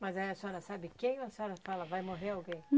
Mas aí a senhora sabe quem ou a senhora fala, vai morrer alguém?